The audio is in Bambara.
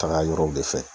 Taga yɔrɔw de fɛ